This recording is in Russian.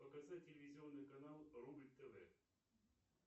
показать телевизионный канал рубль тв